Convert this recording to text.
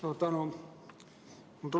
Suur tänu!